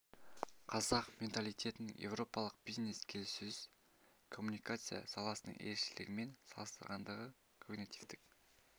қазақ менталитетінің еуропалық бизнес келіссөз коммуникациясы саласының ерекшелігімен салыстырғандағы когнитивтік